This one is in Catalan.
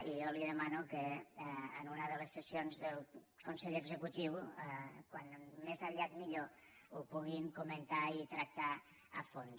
i jo li demano que en una de les sessions del consell executiu com més aviat millor ho puguin comentar i tractar a fons